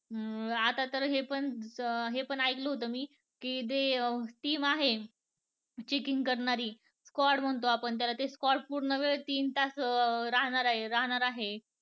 आता तर हे पण ऐकलं होत मी कि, जी team आहे checking करणारी scoad म्हणतो आपण त्याला ते scoad पूर्ण वेळ तीन तास राहणार आहेत.